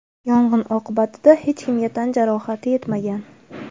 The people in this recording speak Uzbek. Yong‘in oqibatida hech kimga tan jarohati yetmagan.